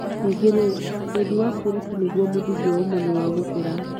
Ningĩ-rĩ, wendi wa kwĩruta nĩguo mũthingi wa ũmenyo wa gũkũra.